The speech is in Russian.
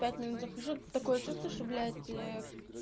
пять минут захожу тут такое чувство что блять